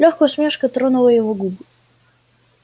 лёгкая усмешка тронула его губы